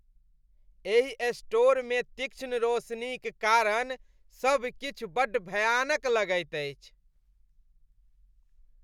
एहि स्टोरमे तीक्ष्ण रोशनीक कारण सब किछु बड्ड भयानक लगैत अछि।